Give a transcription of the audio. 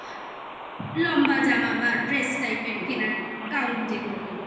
লম্বা জামা but dress type কেনার gown যেগুলোকে বল